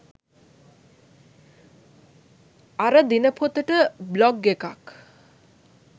අර දිනපොතට බ්ලොග් එකක්.